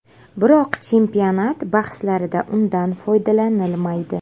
Biroq chempionat bahslarida undan foydalanilmaydi.